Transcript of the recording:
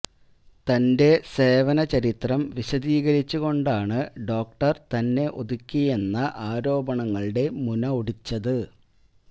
തന്റെ സേവന ചരിത്രം വിശദീകരിച്ച് കൊണ്ടാണ് ഡോക്ടർ തന്നെ ഒതുക്കിയെന്ന ആരോപണങ്ങളുടെ മുന ഒടിച്ചത്